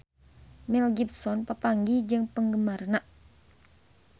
Mel Gibson papanggih jeung penggemarna